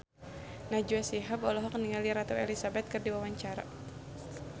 Najwa Shihab olohok ningali Ratu Elizabeth keur diwawancara